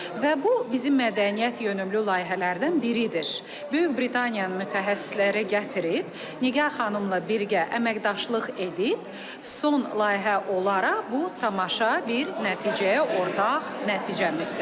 Və bu bizim mədəniyyət yönümlü layihələrdən biridir. Böyük Britaniyanın mütəxəssisləri gətirib, Nigar xanımla birgə əməkdaşlıq edib, son layihə olaraq bu tamaşa bir nəticə ortaq nəticəmizdir.